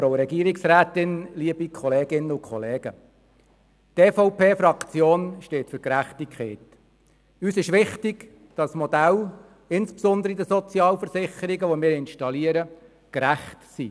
Es ist uns wichtig, dass Modelle, welche wir installieren – insbesondere in den Sozialversicherungen –, gerecht sind.